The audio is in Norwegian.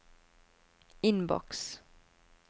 innboks